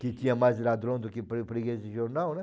Que tinha mais ladrão do que fre freguês de jornal, né?